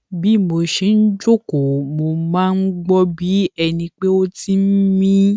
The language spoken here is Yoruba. bí mo ṣe ń jókòó mo máa ń gbó bí ẹni pé ó ti ń mí